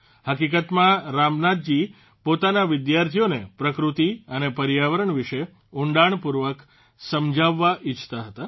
હકીકતમાં રામનાથજી પોતાના વિદ્યાર્થીઓને પ્રકૃતિ અને પર્યાવરણ વિશે ઉંડાણપૂર્વક સમજાવવા ઇચ્છતા હતા